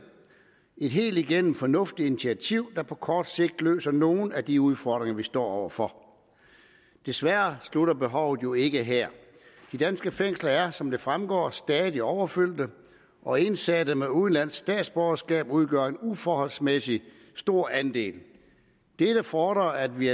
et helt igennem fornuftigt initiativ der på kort sigt løser nogle ud af de udfordringer vi står over for desværre slutter behovet jo ikke her de danske fængsler er som det fremgår stadig overfyldte og indsatte med udenlandsk statsborgerskab udgør en uforholdsmæssig stor andel dette fordrer at vi